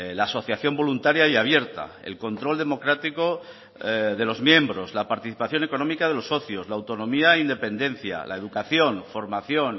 la asociación voluntaria y abierta el control democrático de los miembros la participación económica de los socios la autonomía e independencia la educación formación